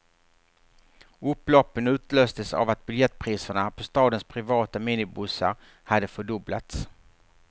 Upploppen utlöstes av att biljettpriserna på stadens privata minibussar hade fördubblats.